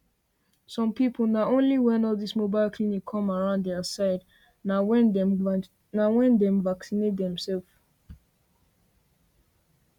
some people na only when all this mobile clinic come around their side na when dem vacinate dem self